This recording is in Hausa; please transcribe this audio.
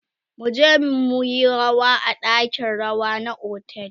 muje muyi rawa a ɗakin rawa na otel